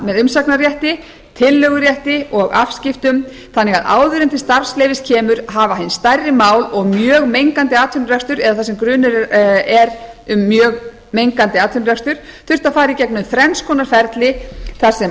umsagnarrétti tillögurétti og afskiptum þannig að áður en til starfsleyfis kemur hafa hin stærri mál og mjög mengandi atvinnurekstur eða þar sem grunur er um mjög mengandi atvinnurekstur þurfti að fara í gegnum þrenns konar ferli þar sem